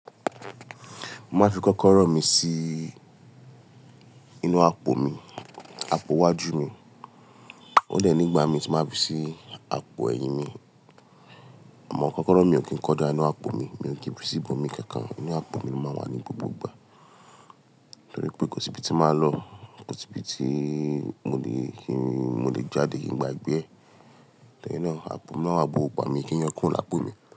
Mo máa fi kọ́kọ́rọ́ mi sí inú àpò mi, àpò iwájú mi. Ó de ní igbà mi ti máa fi sí àpò ẹ̀yìn mi. Àmọ́ kọ́kọ́rọ́ mi ò kí ń kọjá inú àpò mi, mi ò kín fi sí ibo mí kankan. Inú àpò mi lo máa n wà ní gbogbo ìgbà torí pé kò sí ibi tí màá lọ, kò sí ibi tí mo lè kí ń, mo lè jáde kí ń gbagbẹ́ ẹ. Lẹ́yin náà àpò mi lo máa wa but gbogbo igba mi kí yo kurò lápò mi.